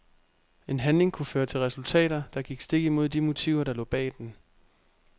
En handling kunne føre til resultater, der gik stik imod de motiver der lå bag den.